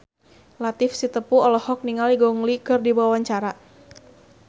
Latief Sitepu olohok ningali Gong Li keur diwawancara